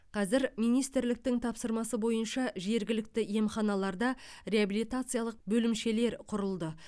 қазір министрліктің тапсырмасы бойынша жергілікті емханаларда реабилитациялық бөлімшелер құрылды